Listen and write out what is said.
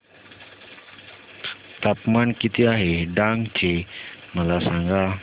तापमान किती आहे डांग चे मला सांगा